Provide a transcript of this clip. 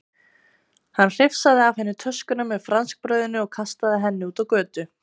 Hann hrifsaði af henni töskuna með franskbrauðinu og kastaði henni út á götu.